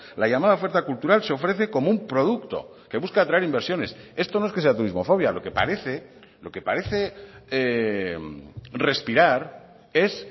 la llamada oferta cultural se ofrece como un producto que busca atraer inversiones esto no es que sea turismofobia lo que parece lo que parece respirar es